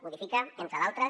modifica entre d’altres